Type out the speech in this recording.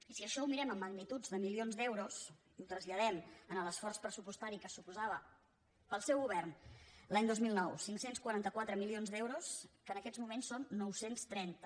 i si això ho mirem amb magnituds de milions d’euros i ho traslladem a l’esforç pressupostari que suposava per al seu govern l’any dos mil nou cinc cents i quaranta quatre milions d’euros que en aquests moments són nou cents i trenta